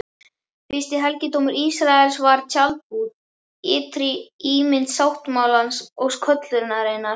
Fyrsti helgidómur Ísraels var tjaldbúð, ytri ímynd sáttmálans og köllunarinnar.